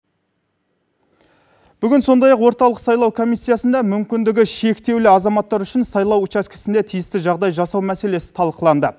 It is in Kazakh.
бүгін сондай ақ орталық сайлау комиссиясында мүмкіндігі шектеулі азаматтар үшін сайлау учаскесінде тиісті жағдай жасау мәселесі талқыланды